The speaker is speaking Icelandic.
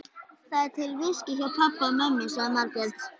Það er til viskí hjá pabba og mömmu, sagði Margrét.